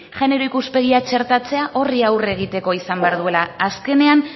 genero ikuspegia txertatzea horri aurre egiteko izan behar duela azkenean